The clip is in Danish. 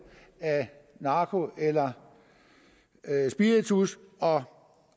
af narko eller spiritus og